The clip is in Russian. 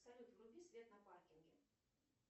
салют вруби свет на паркинге